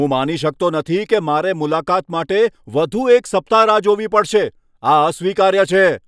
હું માની શકતો નથી કે મારે મુલાકાત માટે વધુ એક સપ્તાહ રાહ જોવી પડશે. આ અસ્વીકાર્ય છે.